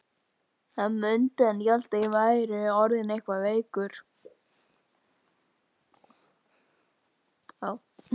Hann mundi halda að ég væri orðinn eitthvað veikur.